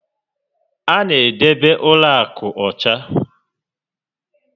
A na edebe ụlọ akụ ọcha